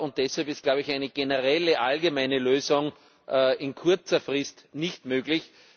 Deshalb ist, glaube ich, eine generelle, allgemeine Lösung in kurzer Frist nicht möglich.